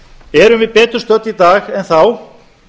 erum við betur stödd í dag en þá